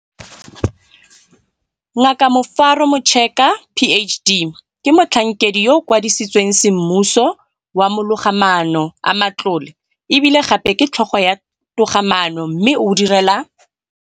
Ngaka Rufaro Mucheka, PhD, ke Motlhankedi yo a Kwadisitsweng Semmuso wa Mologamaano a Matlole e bile gape ke Tlhogo ya Togamaano mme o direla